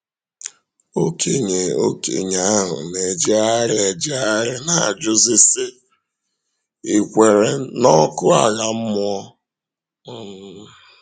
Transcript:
Ọkénye Ọkénye ahụ na-ejégharị-éjégharị na-ajụzi, sị, ‘Ì kwèrè n’ọkụ̀ àlà mmụọ?’ um